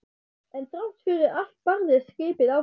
En þrátt fyrir allt barðist skipið áfram.